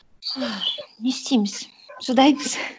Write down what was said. ыыы не істейміз шыдаймыз